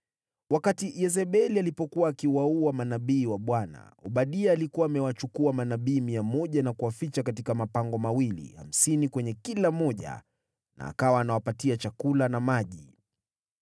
Wakati Yezebeli alipokuwa akiwaua manabii wa Bwana , Obadia alikuwa amewachukua manabii mia moja na kuwaficha katika mapango mawili, hamsini kwenye kila moja na akawa akiwapa chakula na maji.)